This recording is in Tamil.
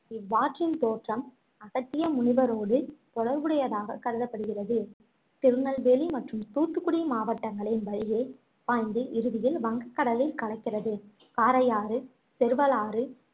இவ்வாற்றின் தோற்றம் அகத்திய முனிவரோடு தொடர்புடையதாக கருதப்படுகிறது திருநெல்வேலி மற்றும் தூத்துக்குடி மாவட்டங்களின் வழியே பாய்ந்து இறுதியில் வங்கக் கடலில் கலக்கிறது காரையாறு, செருவலாறு,